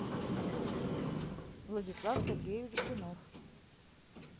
владислав сергеевич блинов